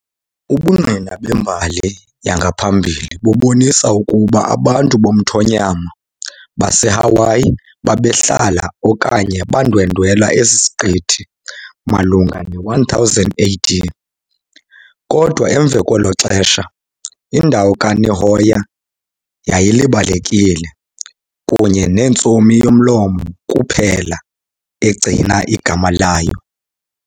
Ubungqina bembali yangaphambili bubonisa ukuba abantu bomthonyama baseHawaii babehlala okanye bandwendwela esi siqithi malunga ne-1000 AD, kodwa emva kwelo xesha indawo ka-Nihoa yayilibalekile, kunye nentsomi yomlomo kuphela egcina igama layo.